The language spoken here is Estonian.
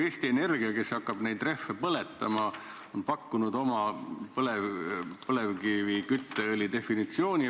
Eesti Energia, kes hakkab neid rehve põletama, on pakkunud välja oma põlevkivikütteõli definitsiooni.